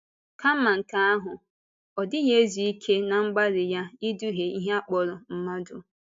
Kàmá nke ahụ, ọ dịghị ezú ike ná mgbalị ya ịdùhìe ihe a kpọrọ mmadụ.